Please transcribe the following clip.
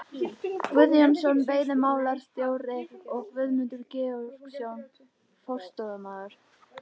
Guðjónsson veiðimálastjóri og Guðmundur Georgsson forstöðumaður